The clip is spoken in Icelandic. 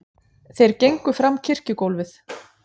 Þeir gengu fram kirkjugólfið.